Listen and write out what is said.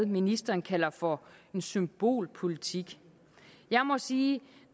ministeren kalder for symbolpolitik jeg må sige at